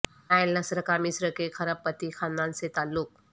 Nile Nasr کا مصر کے کھرب پتی خاندان سے تعلق